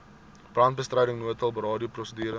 brandbestryding noodhulp radioprosedure